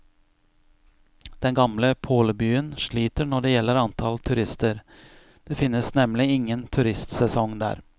Den gamle pålebyen sliter når det gjelder antall turister, det finnes nemlig ingen turistsesong der.